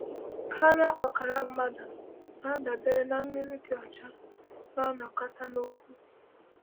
“Karịrị ọkara mmadụ na-adabere na mmiri dị ọcha na-anakọta n’ugwu.”